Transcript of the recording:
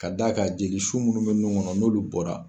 Ka d'a kan jeli su minnu bɛ nun kɔnɔ n'olu bɔra.